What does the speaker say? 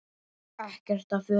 Ekkert af fötum